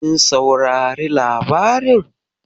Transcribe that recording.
Kin saurari labarin?